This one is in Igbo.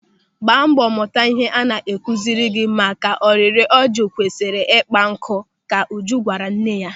"Gbaa mbọ mụta ihe a na-akụziri gị maka na ọ rịrị ọjị kwesịrị ikpa ya nkụ" ka Uju gwara nwanne ya.